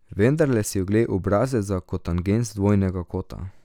Vendarle si oglej obrazec za kotangens dvojnega kota.